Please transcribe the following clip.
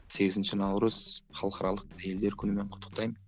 сегізінші наурыз халықаралық әйелдер күнімен құттықтаймын